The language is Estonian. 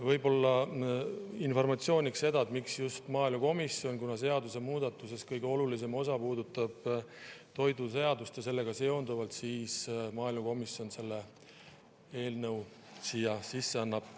Võib-olla informatsiooniks seda, et miks just maaelukomisjon: kuna seaduse muudatuses kõige olulisem osa puudutab toiduseadust ja sellega seonduvat, siis maaelukomisjon selle eelnõu siia sisse annab.